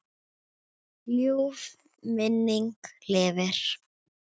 Ljúf minning lifir.